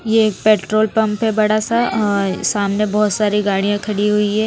ये petrol pump है बड़ा सा अ सामने बहोत सारी गाड़ियां खड़ी हुई है।